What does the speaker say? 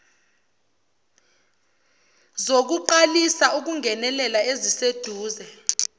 zokuqalisa ukungenelela eziseduze